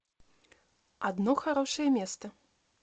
одно хорошее место